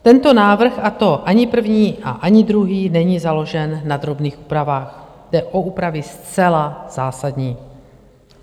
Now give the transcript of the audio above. Tento návrh, a to ani první, a ani druhý, není založen na drobných úpravách, jde o úpravy zcela zásadní.